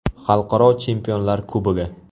Xalqaro Chempionlar Kubogi.